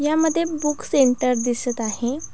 ह्यामध्ये book centre दिसत आहे.